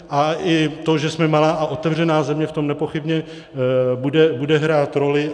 A i to, že jsme malá a otevřená země, v tom nepochybně bude hrát roli.